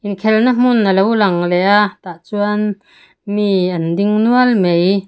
inkhelh na hmun alo lang leh a tah chuan mi an ding nual mai.